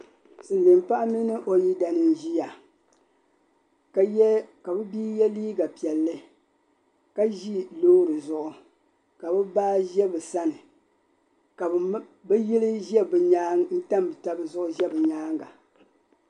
Silmiin paɣa mini o yidana n ʒiya ka bɛ bia yɛ liiga piɛlli ka ʒi loori zuɣu ka bi baa ʒɛ bi sani ka bi yili tam taba zuɣu ʒɛ bi nyaanga